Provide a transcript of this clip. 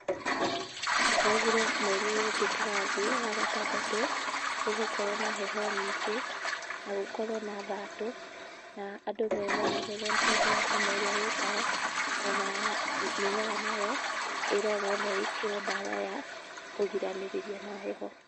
Maugire mweri ũyũ ũngĩ turathiĩ wa gatandatũ ũgũkorwo na heho nyingĩ na gũkorwo na thatũ. Na andũ memenyerere nĩ tondũ wa homa ĩrĩa yũkaga. Ona mĩmera nayo ĩrorwo na ĩkĩrwo ndawa ya kũgiranĩrĩria na heho.